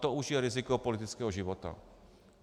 To už je riziko politického života.